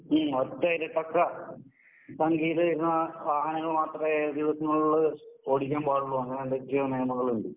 മ് പങ്കിടുന്ന വാഹനങ്ങൾ മാത്രെ ഉപയോഗിക്കുന്നുള്ളൂ ഓടിക്കാൻ പാടുള്ളൂ അങ്ങനെ എന്തൊക്കെയോ നിയമങ്ങളുണ്ട്.